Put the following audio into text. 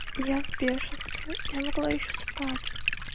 я в бешенстве я могла ещё спать